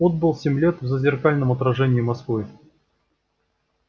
отбыл семь лет в зазеркальном отражении москвы